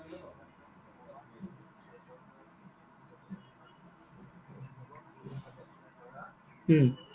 উম